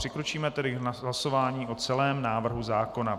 Přikročíme tedy k hlasování o celém návrhu zákona.